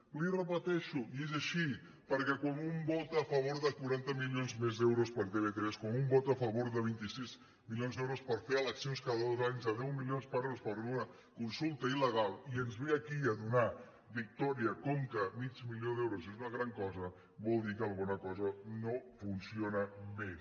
li ho repeteixo i és així perquè quan un vota a favor de quaranta milions més d’euros per a tv3 quan un vota a favor de vint sis milions per fer eleccions cada dos anys de deu milions d’euros per a una consulta ila donar victòria com que mig milió d’euros és una gran cosa vol dir que alguna cosa no funciona més